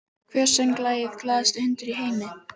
Hver söng lagið “Glaðasti hundur í heimi”?